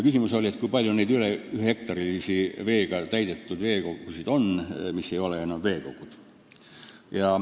Küsimus oligi, kui palju on meil rohkem kui ühe hektari suuruseid veega täidetud süvendeid, mis ei ole enam veekogud.